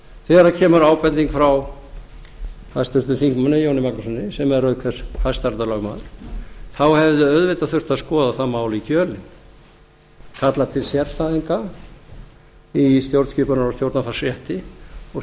þegar kemur ábending frá háttvirtum þingmanni jóni magnússyni sem er auk þess hæstaréttarlögmaður þá hefði auðvitað þurft að skoða það mál í kjölinn kalla til sérfræðinga í stjórnskipunar og stjórnarfarsrétti og